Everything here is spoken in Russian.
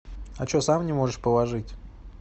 а что сам не можешь положить